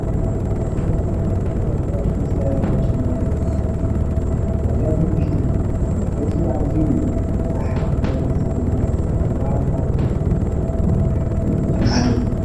ብዝተፈላለየ ዲዛይንን ፋሽንን ዝዳለዉ ጫማታት ብዙሓት እዮም፡፡ ካብዚኣቶም ውሽጢ መርገፂኡ ኣዝዩ ወጣሕ ዝኾነ ስፒል ዝብሃል ካብቶም መግረምቲ ፋሽን ሓደ እዩ፡፡